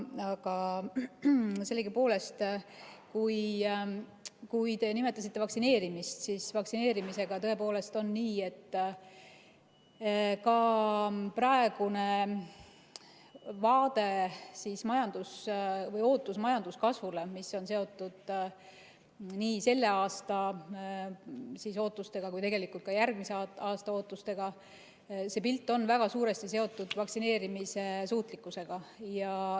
Aga sellegipoolest, kui te nimetasite vaktsineerimist, siis vaktsineerimisega on tõepoolest nii, et ka praegune vaade või ootus majanduskasvule, mis on seotud nii selle aasta ootustega kui tegelikult ka järgmise aasta ootustega, on väga suuresti seotud vaktsineerimissuutlikkusega.